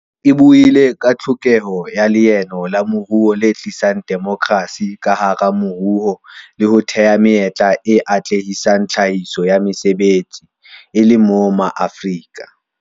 E buile ka tlhokeho ya leano la moruo le tlisang demokrasi ka hara moruo le ho thea menyetla e atlehisang tlhahiso ya mesebetsi, e le moo Maafrika